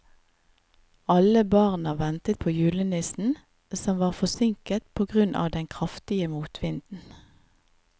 Alle barna ventet på julenissen, som var forsinket på grunn av den kraftige motvinden.